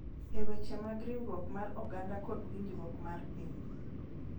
E weche mag riwruok mar oganda kod winjruok mar piny